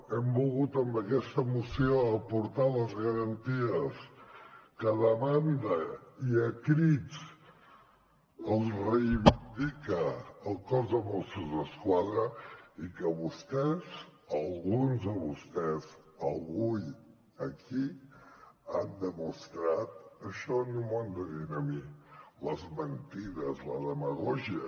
hem volgut amb aquesta moció aportar les garanties que demanda i a crits els reivindica el cos de mossos d’esquadra i que vostès alguns de vostès avui aquí han demostrat això no m’ho han de dir a mi les mentides la demagògia